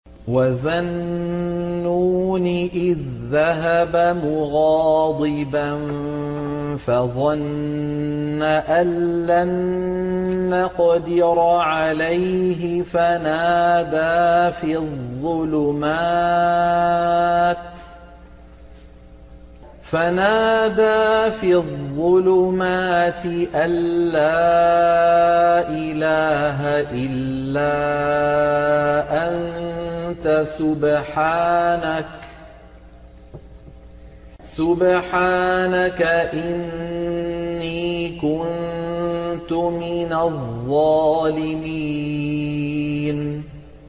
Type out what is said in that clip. وَذَا النُّونِ إِذ ذَّهَبَ مُغَاضِبًا فَظَنَّ أَن لَّن نَّقْدِرَ عَلَيْهِ فَنَادَىٰ فِي الظُّلُمَاتِ أَن لَّا إِلَٰهَ إِلَّا أَنتَ سُبْحَانَكَ إِنِّي كُنتُ مِنَ الظَّالِمِينَ